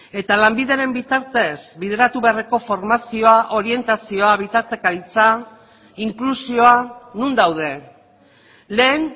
eta lanbideren bitartez bideratu beharreko formazioa orientazioa bitartekaritza inklusioa non daude lehen